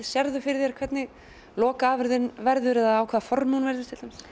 sérðu fyrir þér hvernig lokaafurðin verður eða á hvering formi hún verður